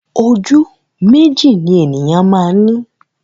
Ojú méjì ni ènìyàn máa ń ni